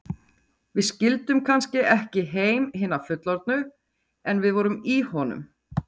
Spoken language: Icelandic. Við skildum kannski ekki heim hinna fullorðnu, en við vorum í honum.